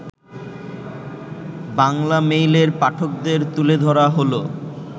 বাংলামেইলের পাঠকদের তুলে ধরা হলো